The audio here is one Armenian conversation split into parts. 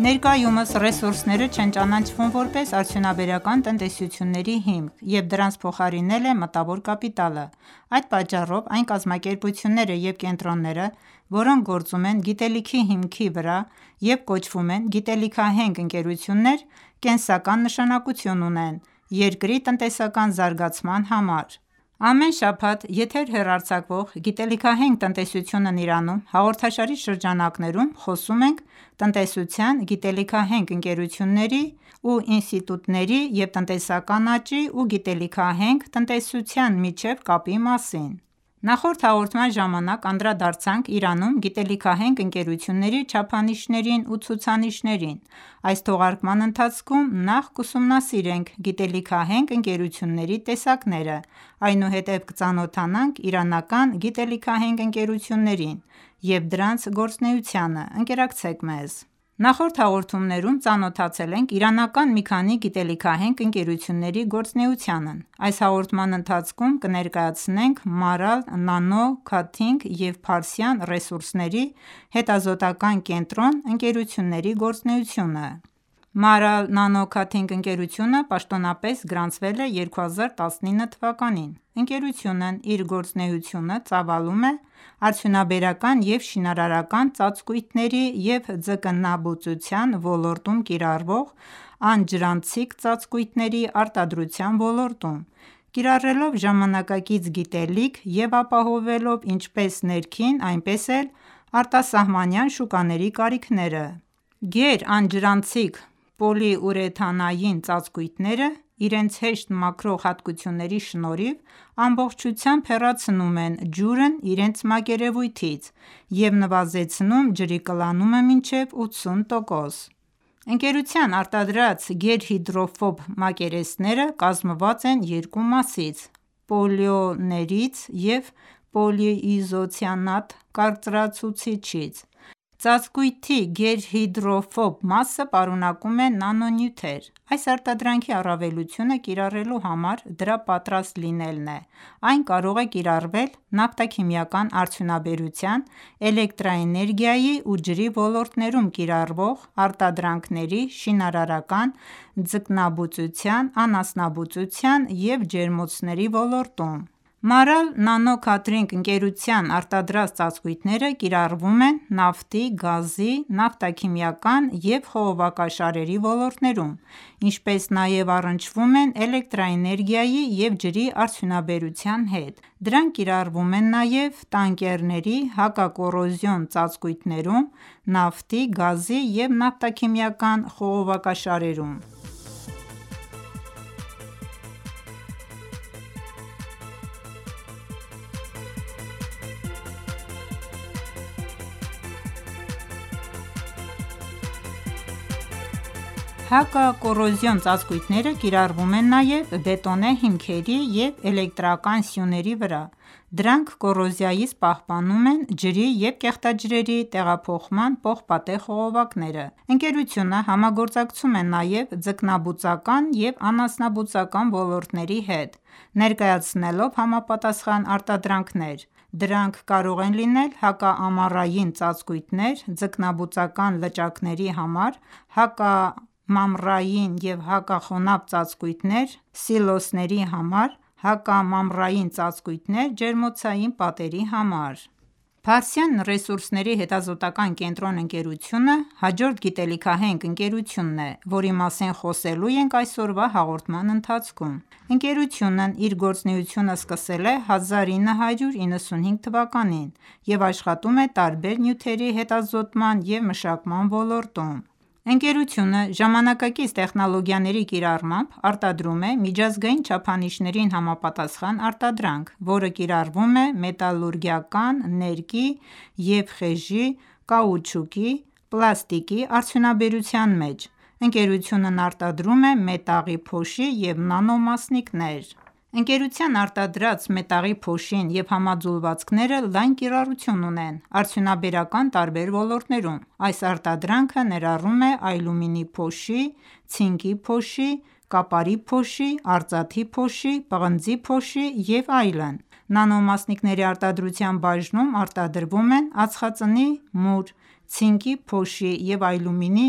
Ներկայումս ռեսուրսները չեն ճանաչվում որպես արդյունաբերական տնտեսությունների հիմք, և դրանց փոխարինել է մտավոր կապիտալը: Այդ պատճառով, այն կազմակերպությունները և կենտրոնները, որոնք գործում են գիտելիքի հիմքի վրա և կոչվում են գիտելիքահենք ընկերություններ, կենսական նշանակություն ունեն երկրի տնտեսական զարգացման համար։ Ամեն շաբաթ եթեր հեռարձակվող «Գիտելիքահենք տնտեսությունն Իրանում» հաղորդաշարի շրջանակներում խոսում ենք տնտեսության, գիտելիքահենք ընկերությունների ու ինստիտուտների և տնտեսական աճի ու գիտելիքահենք տնտեսության միջև կապի մասին։ Նախորդ հաղորդման ժամանակ անդրադարձանք Իրանում գիտելիքահենք ընկերությունների չափանիշներին ու ցուցանիշներին։ Այս թողարկման ընթացքում նախ կուսումնասիրենք գիտելիքահենք ընկերությունների տեսակները, այնուհետև կծանոթանանք իրանական գիտելիքահենք ընկերություններին և դրանց գործունեությանը: Ընկերակցեք մեզ։ Նախորդ հաղորդումներում ծանոթացել ենք իրանական մի քանի գիտելիքահենք ընկերությունների գործունեությանy։ Այս հաղորդման ընթացքում կներկայացնենք MARAL NANO COATING և Փարսյան ռեսուրսների հետազոտական կենտրոն ընկերությունների գործունեությունը: MARAL NANO COATING ընկերությունը պատոնապես գրանցվել է 2019թ.: Ընկերությունն իր գործունեությունը ծավալում է արդյունաբերական և շինարարական ծածկույթների և ձկնաբուծության ոլորտում կիրառվող անջրանցիկ ծածկույթների արտադրության ոլորտում, կիրառելով ժամանակակից գիտելիք և ապահովելով ինչպես ներքին, այնպես էլ արտասահմանյան շուկաների կարիքները: Գերանջրանցիկ պոլիուրեթանային ծածկույթները, իրենց հեշտ մաքրող հատկությունների շնորհիվ, ամբողջությամբ հեռացնում են ջուրն իրենց մակերևույթից և նվազեցնում ջրի կլանումը մինչև 80%: Ընկերության արտադրած գերհիդրոֆոբ մակերեսսները կազմված են երկու մասից՝ պոլիոլներից և պոլիիզոցիանատ կարծրացուցիչից: Ծածկույթի գերհիդրոֆոբ մասը պարունակում է նանոնյութեր: Այս արտադրանքի առավելությունը, կիրառելու համար դրա պատրաստ լինելն է: Այն կարող է կիրառվել նավթաքիմիական արդյունաբերության, էլեկտրաէներգիայի ու ջրի ոլորտներում կիրառվող արտադրանքների, շինարարական, ձկնաբուծության, անասնաբուծության և ջերմոցների ոլորտում: MARAL NANO COATING ընկերության արտադրած ծածկույթները կիարռվում են նավթի, գազի, նավթաքիմիական և խողովակաշարերի ոլորտներում, ինչպես նաև առնչվում են էլեկտրաէներգիայի և ջրի արդյունաբերության հետ: Դրանք կիրառվում են նաև տանկերների հակակոռոզիոն ծածկույթներում, նավթի, գազի և նավթաքիմիական խողովակաշարերում: Հակակոռոզիոն ծածկույթները կիրառվում են նաև բետոնե հիմքերի և էլեկտրական սյուների վրա: Դրանք կոռոզիայից պահպանում են ջրի և կեղտաջրերի տեղափոխման պողպատե խողովակները: Ընկերությունը համագործակցում է նաև ձկնաբուծական ու անասնաբուծական ոլորտների հետ, ներկայացնելով համապատասխան արտադրանքներ: Դրանք կարող են լինել հակամամռային ծածկույթներ ձկնաբուծական լճակների համար, հակամամռային և հակախոնավ ծածկույթներ սիլոսների համար, հակամամռային ծածկույթներ ջերմոցային պատերի համար: Փարսյան ռեսուրսների հետազոտական կենտրոն ընկերությունը հաջորդ գիտելիքահենք ընկերությունն է, որի մասին խոսելու ենք այսօրվա հաղորդման ընթացքում։ Ընկերությունն իր գործունեությունը սկսել է 1995 թ և աշխատում է տարբեր նյութերի հետազոտման և մշակման ոլորտում: Ընկերությունը, ժամանակակից տեխնոլոգիաների կիրառմամբ, արտադրում է միջազգային չափանիշներին համապատասխան արտադրանք, որը կիրառվում է մետալուրգիական, ներկի և խեժի, կաուչուկի, պլաստիկի արդյունաբերության մեջ: Ընկերությունն արտադրում է մետաղի փոշի և նանոմասնիկներ: Ընկերության արտադրած մետաղի փոշին և համաձուլվածնքերը լայն կիրառություն ունեն արդյունաբերական տարբեր ոլորտներում: Այս արտադրանքը ներառում է ալյումինի փոշի, ցինկի փոշի, կապարի փոշի, արծաթի փոշի, պղնձի փոշի և այլն: Նանոմասնիկների արտադրության բաժնում արտադրվում են ածխածնի մուր (արդյունաբերական մուր), ցինկի փոշի և ալյումինի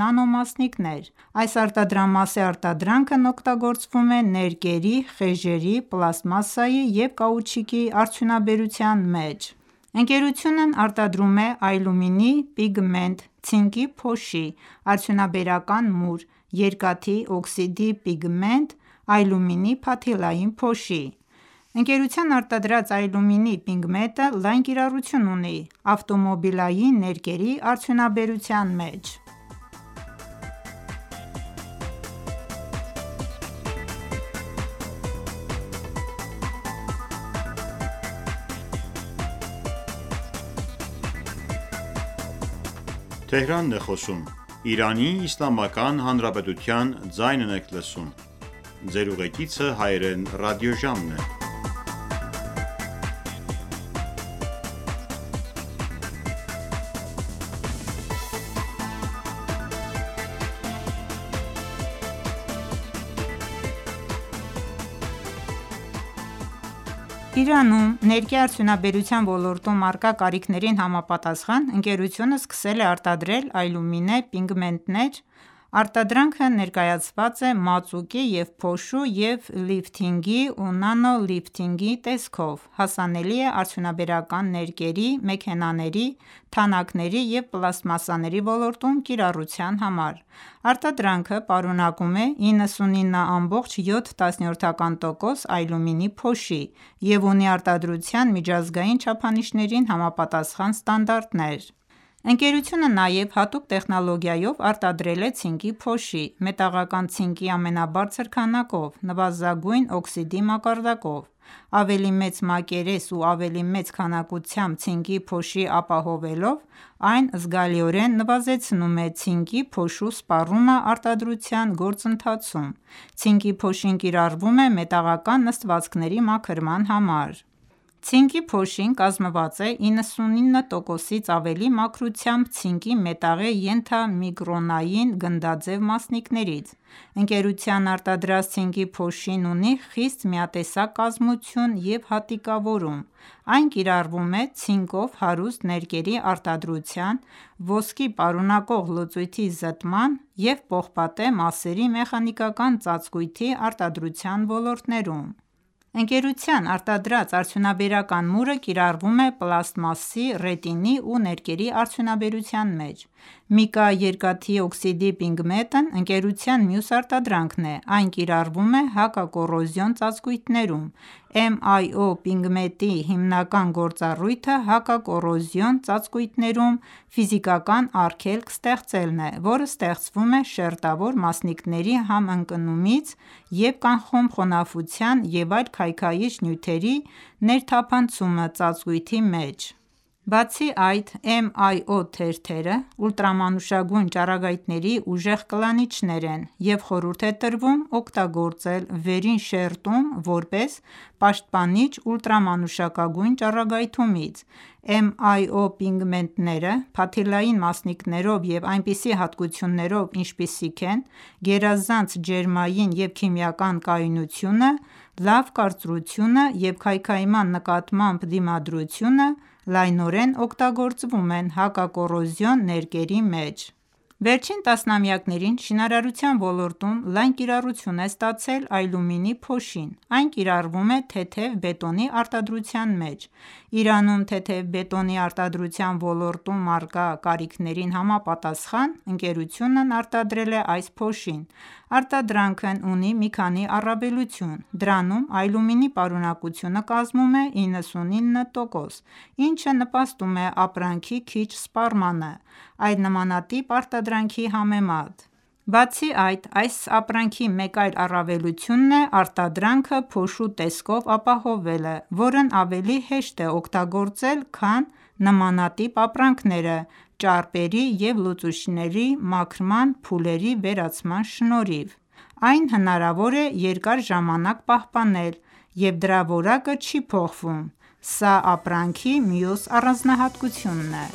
նանոմասնիկներ: Այս արտադրամասի արտադրանքն օգտագործվում է ներկերի, խեժերի, պլաստմասսայի և կաուչուկի արդյունաբերության մեջ: Ընկերությունն արտադրում է ալյումինի պիգմենտ, ցինկի փոշի, արդյունաբերական մուր, երկաթի օքսիդի պիգմենտ, ալյումինի փաթիլային փոշի: Ընկերության արտադրած ալյումինի պիգմենտը լայն կիրառություն ունի ավտոմոբիլային ներկերի արդյունաբերության մեջ: Իրանում ներկի արդյունաբերության ոլորտում առկա կարիքներին համապատասխան, ընկերությունը սկսել է արտադրել ալյումինե պիգմենտներ: Արտադրանքը ներկայացված է մածուկի և փոշու և լիֆթինգի ու նանոլիֆթինգի տեսքով՝ հասանելի է արդյունաբերական ներկերի, մեքենաների, թանաքների և պլաստմասսաների ոլորտում կիրառության համար: Արտադրանքը պարունակում է 99.7 տոկոս ալյումինի փոշի և ունի արտադրության միջազգային չափանիշներին համապատասխան ստանդարտներ: Ընկերությունը նաև հատուկ տեխնոլոգիայով արտադրել է ցինկի փոշի՝ մետաղական ցինկի ամենաբարձր քանակով, նվազագույն օքսիդի մակարդակով: Ավելի մեծ մակերես ու ավելի մեծ քանակությամբ ցինկի փոշի ապահովելով, այն զգալիորեն նվազեցնում է ցինկի փոշու սպառումը արտադրության գործընթացում։ Ցինկի փոշին կիրառվում է մետաղական նստվածքների մաքրման համար: Ցինկի փոշին կազմված է 99%-ից ավելի մաքրությամբ ցինկի մետաղի ենթամիկրոնային գնդաձև մասնիկներից: Ընկերության արտադրած ցինկի փոշին ունի խիստ միատեսակ կազմություն և հատիկավորում։ Այն կիրառվում է ցինկով հարուստ ներկերի արտադրության, ոսկի պարունակող լուծույթի զտման և պողպատե մասերի մեխանիկական ծածկույթի արտադրության ոլորտներում: Ընկերության արտադրած արդյունաբերական մուրը կիրառվում է պլաստմասի, ռետինի ու ներկերի արդյունաբերության մեջ: Միկա երկաթի օքսիդի պիգմենտն ընկերության մյուս արտադրանքն է: Այն կիրառվում է հակակոռոզիոն ծածկույթներում: MIO պիգմենտի հիմնական գործառույթը հակակոռոզիոն ծածկույթներում ֆիզիկական արգելք ստեղծելն է, որը ստեղծվում է շերտավոր մասնիկների համընկնումից և կանխում խոնավության և այլ քայքայիչ նյութերի ներթափանցումը ծածկույթի մեջ: Բացի այդ, MIO թերթերը ուլտրամանուշակագույն ճառագայթների ուժեղ կլանիչներ են, և խորհուրդ է տրվում օգտագործել վերին շերտում որպես պաշտպանիչ ուլտրամանուշակագույն ճառագայթումից: MIO պիգմենտները՝ փաթիլային մասնիկներով և այնպիսի հատկություններով, ինչպիսիք են գերազանց ջերմային և քիմիական կայունությունը, լավ կարծրությունը և քայքայման նկատմամբ դիմադրությունը, լայնորեն օգտագործվում են հակակոռոզիոն ներկերի մեջ: Վերջին տասնամյակներին շինարարության ոլորտում լայն կիրառություն է ստացել ալյումինի փոշին: Այն կիրառվում է թեթև բետոնի արտադրության մեջ: Իրանում թեթև բետոնի արդյունաբերության ոլորտում առկա կարիքներին համապատասխան, ընկերությունն արտադրել է այս փոշին: Արտադրանքն ունի մի քանի առավելություն: Դրանում ալյումինի պարունակությունը կազմում է 99 տոկոսս, ինչը նպաստում է ապրանքի քիչ սպառմանը, այլ նմանատիպ արտադրանքի համեմատ: Բացի այդ, այս ապրանքի մեկ այլ առավելություն է արտադրանքը փոշու տեսքով ապահովելը, որն ավելի հեշտ է օգտագործել, քան նմանատիպ ապրանքները՝ ճարպերի և լուծիչների մաքրման փուլերի վերացման շնորհիվ: Այն հնարավոր է երկար ժամանակ պահպանել և դրա որակը չի փոխվում: Սա ապրանքի մյուս առանձնահատկությունն է: